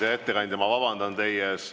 Hea ettekandja, ma vabandan teie ees.